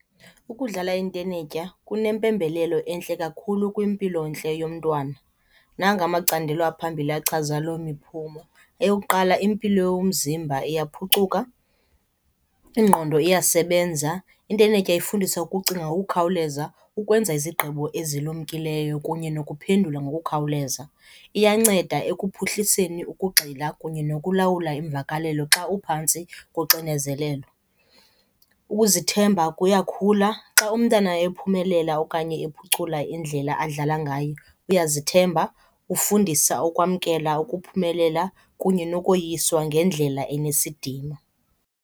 Ukudlala intenetya kunempembelelo entle kakhulu kwimpilontle yomntwana. Nanga amacandelo aphambili achaza loo miphumo. Eyokuqala, impilo yomzimba iyaphucuka, ingqondo iyasebenza, intenetya ifundisa ukucinga ngokukhawuleza, ukwenza izigqibo ezilumkileyo kunye nokuphendula ngokukhawuleza. Iyanceda ekuphuhliseni ukugxila kunye nokulawula iimvakalelo xa uphantsi koxinezelelo. Ukuzithemba kuyakhula. Xa umntana ephumelela okanye ephucula indlela adlala ngayo uyazithemba, ufundisa ukwamkela ukuphumelela kunye nokoyiswa ngendlela enesidima.